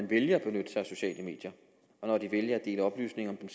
vælger at benytte sig af sociale medier og når de vælger at dele oplysninger om